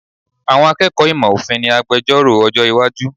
Àwọn akẹ́kọ̀ọ́ ìmọ̀ òfin ni agbejọ́rò ọjọ́ iwájú.